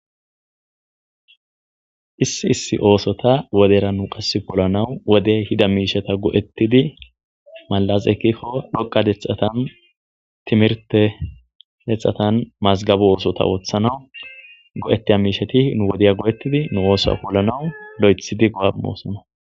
issi issi oosota wodera nu qase polanawu wode ehida miishata go'ettidi malas ekkikko dhoqa detxatan timirte hexxatan mazgabu oosota ooththanawu go'ettiya miisheti nu wodeya go'ettidi nu oosa polanawu lo'ethidi go'a imoosona